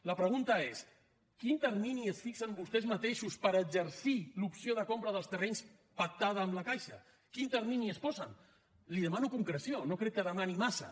la pregunta és quin termini es fixen vostès mateixos per exercir l’opció de compra dels terrenys pactada amb la caixa quin termini es posen li demano concreció no crec que demani massa